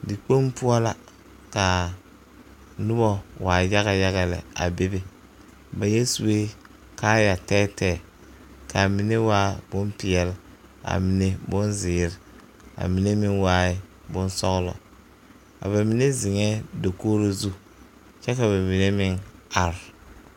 Dikpoŋ poɔ la ka noba waa yagyaga lɛ a bebe ba yɛ sue kaaya tɛɛtɛɛ kaamine waa bon peɛl a mine boŋzeere a mine meŋ waaɛ boŋsɔglɔ a ba mine ziŋɛɛ dakogro zu kyɛ ka ba mine meŋ are.